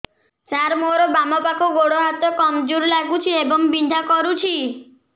ସାର ମୋର ବାମ ପାଖ ଗୋଡ ହାତ କମଜୁର ଲାଗୁଛି ଏବଂ ବିନ୍ଧା କରୁଛି